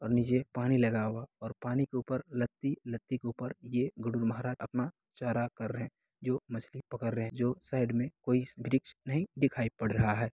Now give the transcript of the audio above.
--और नीचे पानी लगा हुआ है पानी के ऊपर लत्ती-लत्ती के ऊपर यह यह अपना चारा कर रहे है जो मछली पकड़ रहे है जो साईड में कोई वृक्ष नहीं दिखाई पड़ रहा है।